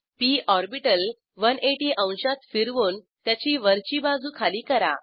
P orbital 180 अंशात फिरवून त्याची वरची बाजू खाली करा